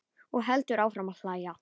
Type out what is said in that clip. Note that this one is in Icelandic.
Og heldur áfram að hlæja.